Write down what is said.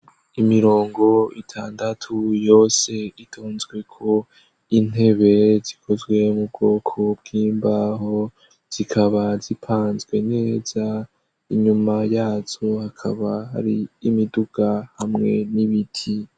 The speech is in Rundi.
Imirongo itandatu yose ritonzweko intebe zikozwe mu bwoko bw'imbaho zikaba zipanzwe neza inyuma yaco hakaba ari imiduga hamwe n'ibiti.